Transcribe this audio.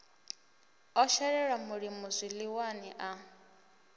o shelelwa mulimo zwiḽiwani a